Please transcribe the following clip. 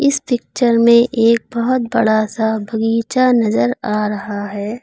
इस पिक्चर में एक बहोत बड़ा सा बगीचा नजर आ रहा है।